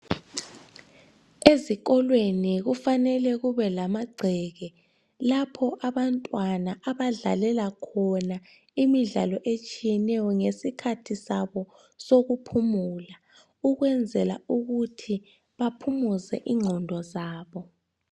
Ezikolweni kufanele kube lamagceke lapho abantwana abadlalela khona imidlalo etshiyeneyo ngesikhathi sabo sokuphumula ukwenzela ukuthi baphumuze ingqondo zabo.